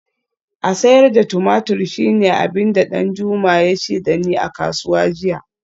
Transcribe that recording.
A sayar da tumatur shine abin da Danjuma ya ce da ni a kasuwa jiya